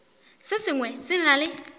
se sengwe se na le